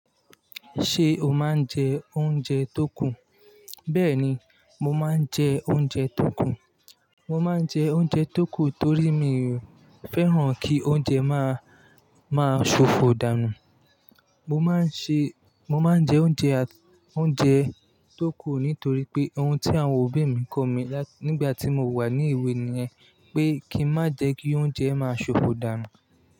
Ṣé o máa ń jẹ oúnjẹ tó kù? Bẹ́ẹ̀ni, mo máa ń jẹ oúnjẹ tó kù. Mo máa ń jẹ oúnjẹ tó kù torí mi ò fẹ́ràn kí oúnjẹ má, máa ṣòfò dànù. Mo máa ń ṣe, mo máa ń jẹ oúnjẹ, oúnjẹ tó kù nítorí pé ohun tí àwọn òbí mi kọ̀ mí nígbà tí mo wà ní ewé ni ẹ́ pé kí n má jẹ kí oúnjẹ máa ṣòfò dànù.